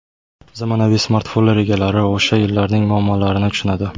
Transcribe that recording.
Zamonaviy smartfonlar egalari o‘sha yillarning muammolarini tushunadi.